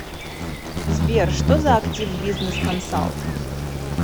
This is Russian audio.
сбер что за активбизнесконсалт